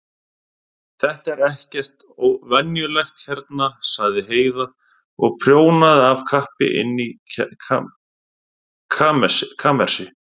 Þetta er ekkert venjulegt hérna, sagði Heiða og prjónaði af kappi inni í kamersi.